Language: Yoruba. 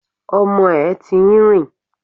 Ọmọ ẹ̀ ti ń rìn